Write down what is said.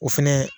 O fɛnɛ